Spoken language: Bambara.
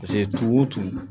tumu o tumu